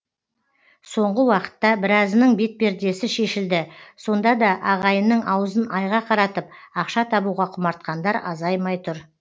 соңғы уақытта біразының бетпердесі шешілді сонда да ағайынның аузын айға қаратып ақша табуға құмартқандар азаймай тұр